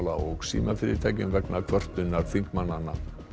og símafyrirtækjum vegna kvörtunar þingmannanna